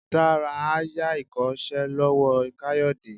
Dara a ya ikosé lowo kayode